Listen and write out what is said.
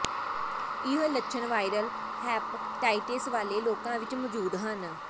ਇਹ ਲੱਛਣ viral hepatitis ਵਾਲੇ ਲੋਕਾਂ ਵਿੱਚ ਮੌਜੂਦ ਹਨ